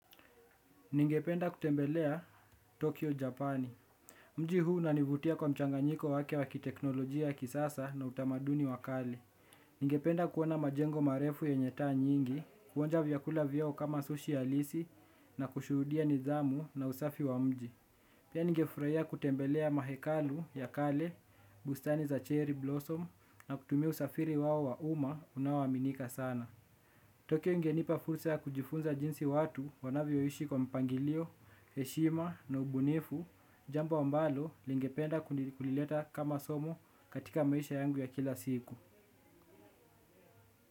Ningependa kutembelea Tokyo, Japani. Mji huu unanivutia kwa mchanganyiko wake wa teknolojia ya kisasa na utamaduni wa kale. Ningependa kuona majengo marefu yenye taa nyingi, kuonja vyakula vyao kama sushi halisi. Na kushuhudia nidhamu na usafi wa mji. Pia ngefuraya kutembelea mahekalu ya kale, bustani za cherry blossom na kutumiu safiri wao wa uma unawaminika sana. Tokyo ingenipa fursa ya kujifunza jinsi watu wanavyoishi kwa mpangilio, heshima na ubunifu. Jambo ambalo ningependa kulileta kama somo katika maisha yangu ya kila siku.